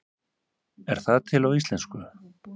Er það til á íslensku?